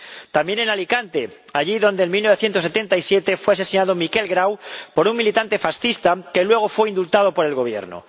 También en Alicante, allí donde en 1977 fue asesinado Miquel Grau por un militante fascista, que luego fue indultado por el Gobierno.